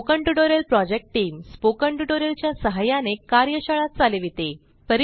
spoken tutorial project team spoken tutorial च्या सहाय्याने कार्यशाळा चालविते